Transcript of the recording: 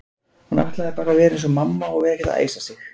Hún ætlaði bara að vera eins og mamma og vera ekkert að æsa sig.